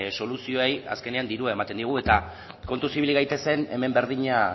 soluzioei azkenean dirua ematen diegu eta kontuz ibili gaitezen hemen berdina